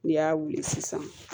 N'i y'a wuli sisan